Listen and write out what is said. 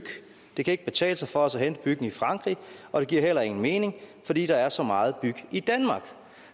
det kan ikke betale sig for os at hente byggen i frankrig og det giver heller ingen mening fordi der er så meget byg i danmark